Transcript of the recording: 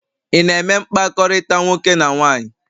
Ị na-eme mkpakọrịta nwoke na nwaanyị?